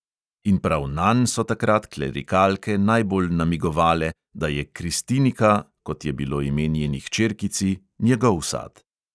In prav nanj so takrat klerikalke najbolj namigovale, da je kristinika, kot je bilo ime njeni hčerkici, njegov sad.